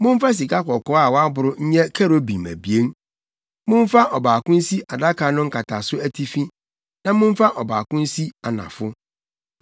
Momfa sikakɔkɔɔ a wɔaboro nyɛ kerubim abien. Momfa ɔbaako nsi adaka no nkataso atifi na momfa ɔbaako nsi anafo.